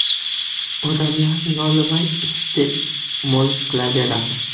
Odamlar nolimay iste’mol qilaveradi.